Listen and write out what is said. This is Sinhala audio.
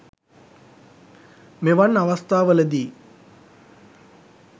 මෙවන් අවස්ථාවල දී